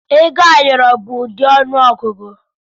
Ego ayọrọ bụ ụdị ọnụ ọgụgụ.